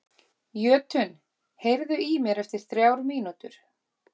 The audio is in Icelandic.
Jötunn, heyrðu í mér eftir þrjár mínútur.